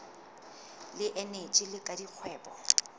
le eneji le la dikgwebo